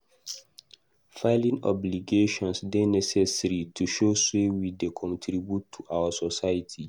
Filing obligations dey necessary to show say we dey contribute to our society.